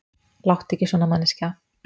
Láttu ekki svona, manneskja.